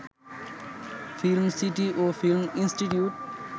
film city ও film institute